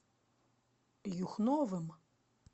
юхновым